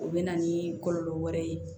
O bɛ na ni kɔlɔlɔ wɛrɛ ye